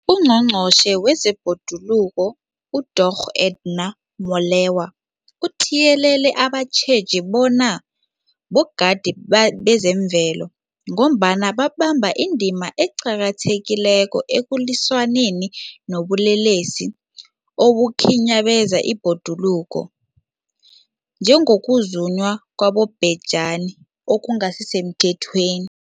UNgqongqotjhe wezeBhoduluko uDorh Edna Molewa uthiyelele abatjheji bona bogadi bezemvelo, ngombana babamba indima eqakathekileko ekulwisaneni nobulelesi obukhinyabeza ibhoduluko, njengokuzunywa kwabobhejani okungasisemthethweni.